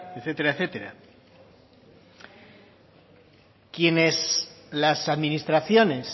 etcétera etcétera las administraciones